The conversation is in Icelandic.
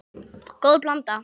Góð blanda.